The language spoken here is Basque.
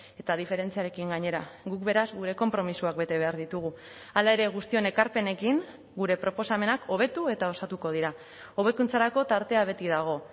eta diferentziarekin gainera guk beraz gure konpromisoak bete behar ditugu hala ere guztion ekarpenekin gure proposamenak hobetu eta osatuko dira hobekuntzarako tartea beti dago